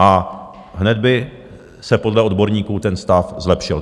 A hned by se podle odborníků ten stav zlepšil.